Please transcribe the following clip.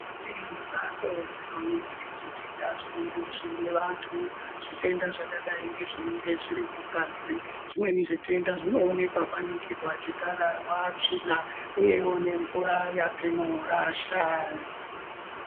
Kune mbatso dzinoningire zvitenda zvinenge zvine vantu. Zvitenda zvakadayi ngezvinenge zviri mungazi. Zvimweni zvitenda zvinoonekwa kwaningirwa chikararwa, tsvina uyewo nemvura yatinorasha.